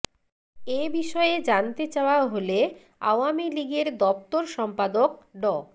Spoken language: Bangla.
এ বিষয়ে জানতে চাওয়া হলে আওয়ামী লীগের দপ্তর সম্পাদক ড